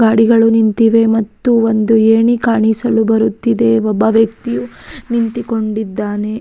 ಗಾಡಿಗಳು ನಿಂತಿವೆ ಮತ್ತು ಒಂದು ಏಣಿ ಕಾಣಿಸಲು ಬರುತ್ತಿದೆ ಒಬ್ಬ ವ್ಯಕ್ತಿಯು ನಿಂತಿಕೊಂಡಿದ್ದಾನೆ.